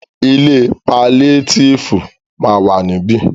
Ilé paliétífù ma wà ní ibí.